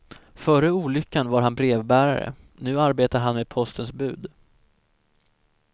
Före olyckan var han brevbärare, nu arbetar han med postens bud.